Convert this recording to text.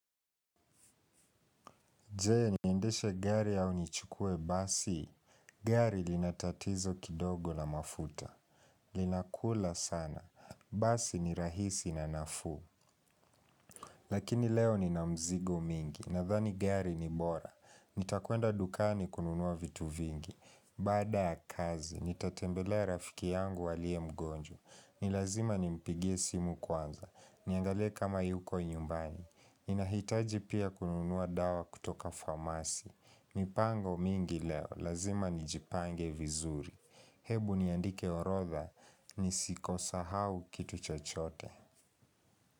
Je niendeshe gari au nichukue basi. Gari lina tatizo kidogo na mafuta. Linakula sana. Basi ni rahisi na nafuu. Lakini leo nina mizigo mingi. Nadhani gari ni bora. Nitakwenda dukani kununua vitu vingi. Baada ya kazi, nitatembelea rafiki yangu aliye mgonjwa. Ni lazima nimpigie simu kwanza. Niangalie kama yuko nyumbani. Ninahitaji pia kununua dawa kutoka famasi. Mipango mingi leo, lazima nijipange vizuri. Hebu niandike orodha, nisikosee hata kitu chochote.